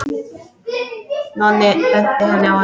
Nonni benti henni á hana.